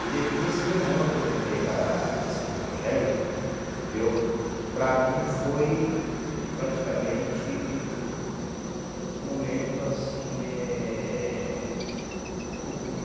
E nes e nesse mesmo ano, quando eu entrei para a para a seita evangélica viu, para mim foi praticamente um momento assim eh oportuno.